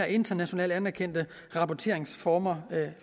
internationalt anerkendte rapporteringsformer det